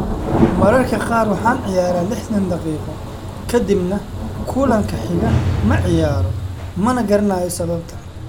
"Mararka qaar waxaan ciyaaraa lixtan daqiiqo ka dibna kulanka xiga ma ciyaaro, mana garanayo sababta."